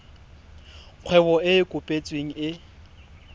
kgwebo e e kopetsweng e